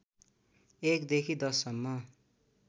१ देखि १० सम्म